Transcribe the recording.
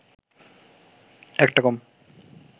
একটা কম